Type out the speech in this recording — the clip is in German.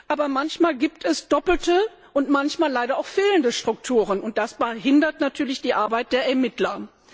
Aber manchmal gibt es doppelte und manchmal leider auch fehlende Strukturen, und das behindert natürlich die Arbeit der Ermittler.